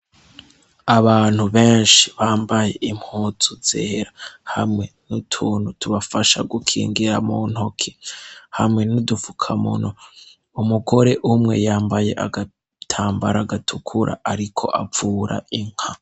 Abantu benshi bambaye impozu zera hamwe n'utuntu tubafasha gukingira mu ntoke hamwe n'udufuka munwa, umugore umwe yambaye agatambara agatukura, ariko avura inka.